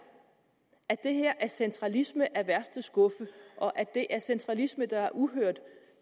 at det her er centralisme af værste skuffe og at det er centralisme der er uhørt